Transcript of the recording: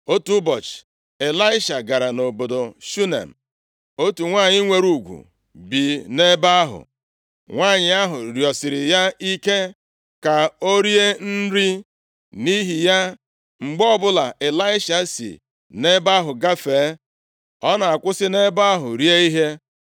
Otu ụbọchị, Ịlaisha gara nʼobodo Shunem. Otu nwanyị nwere ugwu bi nʼebe ahụ. Nwanyị ahụ rịọsiri ya ike ka o rie nri. Nʼihi ya, mgbe ọbụla Ịlaisha si nʼebe ahụ gafee, ọ na-akwụsị nʼebe ahụ rie ihe.